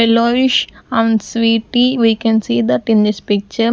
Yellowish and sweety we can see that in this picture.